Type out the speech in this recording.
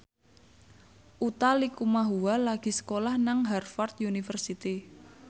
Utha Likumahua lagi sekolah nang Harvard university